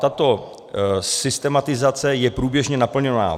Tato systematizace je průběžně naplňovaná.